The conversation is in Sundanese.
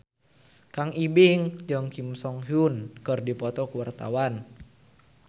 Kang Ibing jeung Kim So Hyun keur dipoto ku wartawan